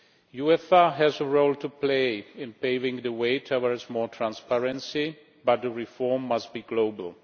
UEFA has a role to play in paving the way towards more transparency, but the reform must be global.